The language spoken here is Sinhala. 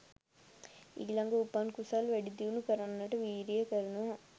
ඊළඟට උපන් කුසල් වැඩිදියුණු කරන්නට වීරිය කරනවා